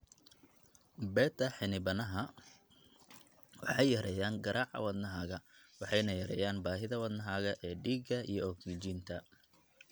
Beta xinibaaha waxay yareeyaan garaaca wadnahaaga waxayna yareeyaan baahida wadnahaaga ee dhiiga iyo ogsijiinta.